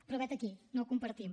però vet aquí no ho compartim